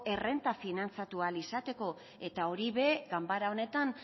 errenta finantzatu ahal izateko eta hori ere ganbara honetan